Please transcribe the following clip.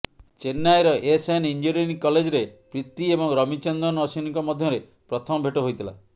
ଚେନ୍ନାଇର SN engineering କଲେଜ୍ରେ ପ୍ରୀତି ଏବଂ ରବିଚନ୍ଦ୍ରନ୍ ଅଶ୍ୱିନୀଙ୍କ ମଧ୍ୟରେ ପ୍ରଥମ ଭେଟ ହୋଇଥିଲା